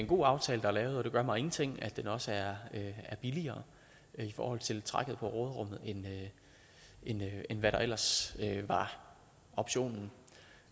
god aftale der er lavet og det gør mig ingenting at den også er billigere i forhold til trækket på råderummet end hvad der ellers var optionen